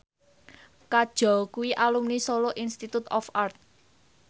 Kajol kuwi alumni Solo Institute of Art